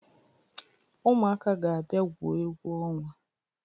Ụmụaka ga-abia gwuo egwu ọnwa.